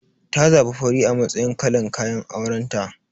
Ta zabi fari a matsayin kalan kayan aurenta.